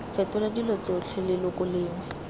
fetola dilo tsotlhe leloko lengwe